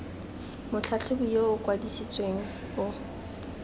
motlhatlhobi yo o kwadisitsweng o